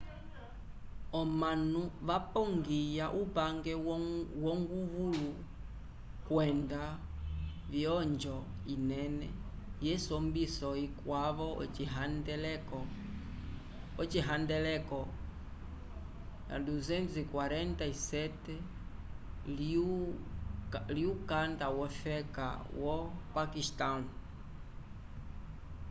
omanu vapogiya upange wonguvulu kwenda vyonjo inene yesombiso ikwavo ocihandeleko 247 lyukanda wofeka wo paquistão